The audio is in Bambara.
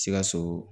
Sikaso